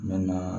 Mɛ na